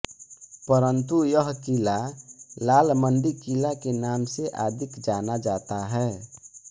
परन्तु यह किला लालमण्डी किला के नाम से अदिक जाना जाता है